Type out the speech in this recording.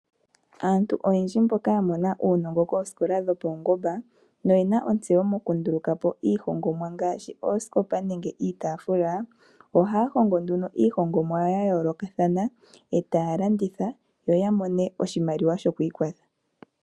Aantu oyendji mboka ya mona uunongo koosikola dhopaungomba noyena ontseyo m9ku ndulukapo iihongomwa ngaashi oosikopa nenge iitaafula. Ohaya hongomo nduno iihongomwa yawo yayooloka yoya mone oshimaliwa shoku ikwatha.